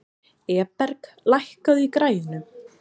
Eberg, lækkaðu í græjunum.